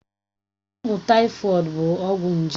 Ọgwụ tàífọ̀d bụ ọgwụ nje